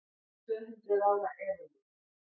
Tvöhundruð ára eðalvín